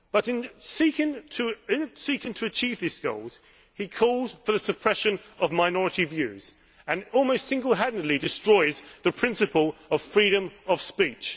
However, in seeking to achieve these goals he is calling for the suppression of minority views and is almost single handedly destroying the principle of freedom of speech.